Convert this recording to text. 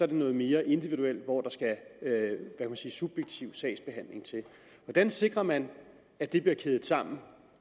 det noget mere individuelt hvor der skal subjektiv sagsbehandling til hvordan sikrer man at det bliver kædet sammen